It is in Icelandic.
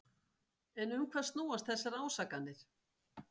En um hvað snúast þessar ásakanir?